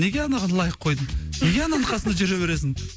неге анаған лайк қойдың неге ананың қасында жүре бересің